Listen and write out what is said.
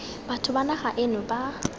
batho ba naga eno ba